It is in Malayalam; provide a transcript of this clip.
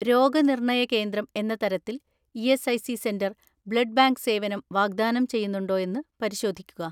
രോഗനിർണയ കേന്ദ്രം എന്ന തരത്തിൽ ഇ.എസ്.ഐ.സി സെന്റർ ബ്ലഡ് ബാങ്ക് സേവനം വാഗ്ദാനം ചെയ്യുന്നുണ്ടോയെന്ന് പരിശോധിക്കുക.